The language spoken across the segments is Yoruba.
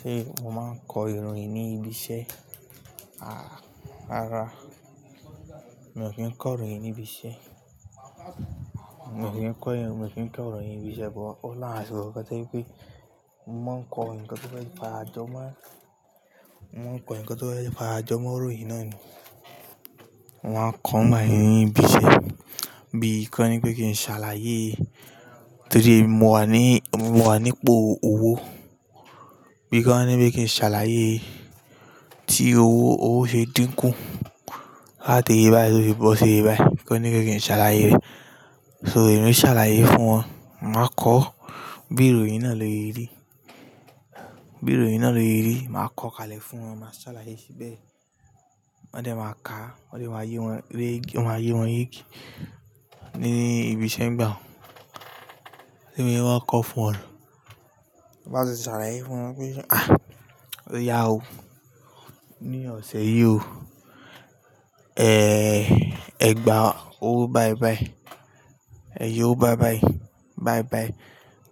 Ṣé mo máa ń kọ ìròyìn ní ibi iṣẹ́? Àh rara, mi o ki ń kọ ìròyìn ní ibi iṣẹ́. Mo sì ń kọ ìròyìn ní ibi iṣẹ́, but óní àwọn àsìkò kan tó gẹ́pẹ́ mo mó ń kọ nǹkan tó fẹ́ padà jọmọ́, mo ń kọ nǹkan tó bá ti padà jọmọ́ ìròyìn náà ni. Wọn á kọ́ ọ̀nà ní ibi iṣẹ́ bí kí wọ́n ní pé kí n ṣàlàyé torí èmi mo wà ní, mo wà nípo owó. Bí kí wọ́n ní pé kí n ṣàlàyé tí owó, owó ṣe dínkù. Áàtì iye báyìí ló fi bọ́ sí iye báyìí. Kí wọ́n ní pé kí n ṣàlàyé rẹ̀. So èmi ń ṣàlàyé fún wọn. Màá kọ́ bí ìròyìn náà ló yẹ rí. Bí ìròyìn náà ló yẹ rí, màá kọ̀ kalẹ̀ fún wọn, màá ṣàlàyé síbẹ̀. Wọ́n dẹ̀ máa ka, wọ́n lè wá yé wọn, wọ́n á yé wọn yege ní ibi iṣẹ́ ń gbà. Ẹ̀mí ni wọ́n á kọ́ fún wọn. Bá ti ṣàlàyé fún wọn pé ah! Ó yà ó ní ọ̀sẹ̀ yìí o. Eh, ẹ gba owó báibái. Ẹ yọ owó báibái, báibái.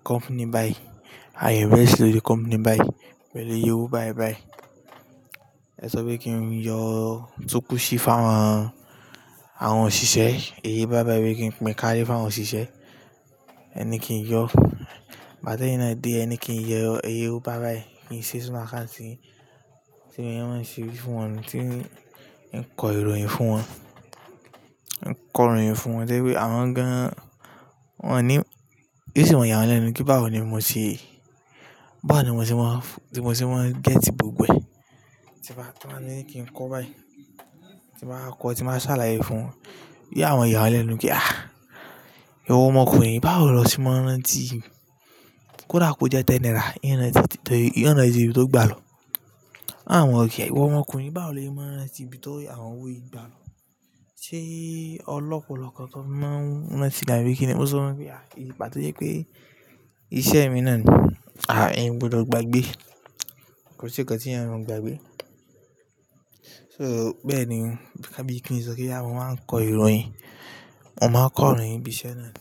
Company bái. Ayẹ̀bẹ̀rẹ̀ sì ló di company bái. Ẹ lè yọ owó báibái. Ẹ sọ pé kí n yọ túkù sí fáwọn àwọn òṣìṣẹ́. Ẹ yẹ owó báibái wí pé kí n pín kárí fún àwọn òṣìṣẹ́. Ẹ ní kí n yọ. Bá dẹ́yìn náà dé, ẹ ní kí n yọ owó báibái kí n ṣe sínú àkáàtì tí èmi máa ń ṣe fún wọn, tí n kọ ìròyìn fún wọn. N kọ ìròyìn fún wọn to jẹ́ pé àwọn gan-an wọn ní, bí o sì máa yà wọ́n lẹ́nu kí bá ò ni mo ṣe, bá ò ni mo ti máa ń, tí mo ti máa ń gẹ́tì gbogbo ẹ̀. Tí wọ́n á ní kí n kọ́ báyìí. Tí màá kọ́, tí màá ṣàlàyé fún wọn. Bí àwọn ọ̀yà wọ́n lẹ́nu pé ah! Ìwọ ọmọkùnrin báwo lọ ti máa rán tí kódà kò jẹ́ tẹ́n naìrà n rántí, n rántí ibi tó gbàlọ Àwọn kẹ ìwọ ọmọkùnrin báwo lọ máa ń rántí bí tó àwọn owó yìí gbà lọ. Ṣé ọlọ́pọ̀lọ́pọ̀ tó máa ń rántí dmàbí kíni? Mo sì wọ́n wí pé àì, ìpà tó jẹ́ pé iṣẹ́ mi náà ni. Ah! Eeyan ò gbọdọ̀ gbàgbé. Kò sí ǹkan tí èèyàn ò gbàgbé. So bẹ́ẹ̀ ni. Bí kàbí kí n sọ pé bóyá mo máa ń kọ ìròyìn. Wọn máa ń kọ ìròyìn ibi iṣẹ́ náà ni.